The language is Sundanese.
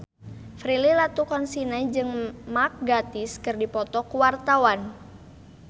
Prilly Latuconsina jeung Mark Gatiss keur dipoto ku wartawan